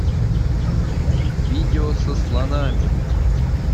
видео со слонами